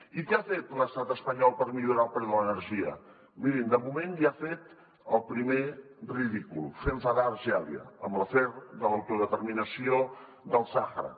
i què ha fet l’estat espanyol per millorar el preu de l’energia mirin de moment ja ha fet el primer ridícul fer enfadar algèria amb l’afer de l’autodeterminació del sàhara